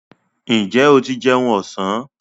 Ǹjẹ́ o ti jẹun ọ̀sán?